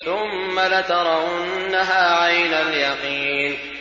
ثُمَّ لَتَرَوُنَّهَا عَيْنَ الْيَقِينِ